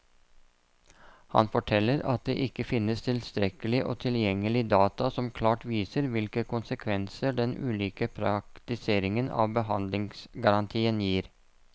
Han forteller at det ikke finnes tilstrekkelig og tilgjengelig data som klart viser hvilke konsekvenser den ulike praktiseringen av behandlingsgarantien gir.